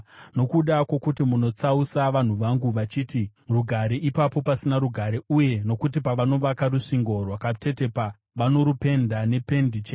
“ ‘Nokuda kwokuti vanotsausa vanhu vangu, vachiti, “Rugare,” ipo pasina rugare, uye nokuti pavanovaka rusvingo rwakatetepa vanorupenda nependi chena.